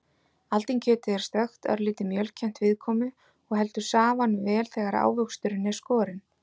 Aldinkjötið er stökkt, örlítið mjölkennt viðkomu og heldur safanum vel þegar ávöxturinn er skorinn.